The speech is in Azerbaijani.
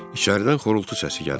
İçəridən xorultu səsi gəlirdi.